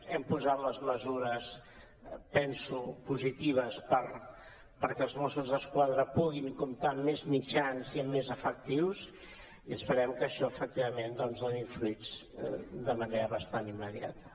hem posat les mesures penso positives perquè els mossos d’esquadra puguin comptar amb més mitjans i amb més efectius i esperem que això efectivament doni fruits de manera bastant immediata